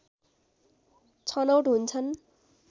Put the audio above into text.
छनौट हुन्छन्